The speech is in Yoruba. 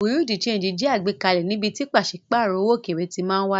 Bùréáù de ṣéńjì jẹ́ àgbékalẹ̀ níbi tí pàṣípàrọ̀ owó òkèèrè ti máa wáyé.